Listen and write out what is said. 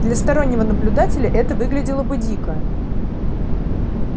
для стороннего наблюдателя это выглядело бы дико